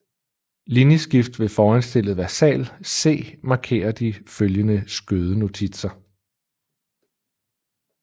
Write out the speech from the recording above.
Linjeskift med foranstillet versal C markerer de følgende skødenotitser